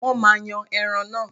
wọn maá yan ẹran náà.